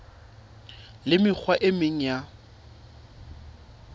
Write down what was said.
le mekgwa e meng ya